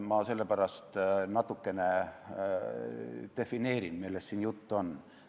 Ma sellepärast natukene defineerin, millest siin juttu on.